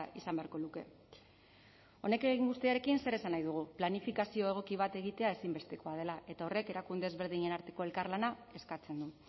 izan beharko luke honekin guztiarekin zer esan nahi dugu planifikazio egoki bat egitea ezinbestekoa dela eta horrek erakunde ezberdinen arteko elkarlana eskatzen du